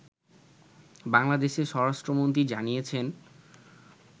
বাংলাদেশের স্বরাষ্ট্রমন্ত্রী জানিয়েছেন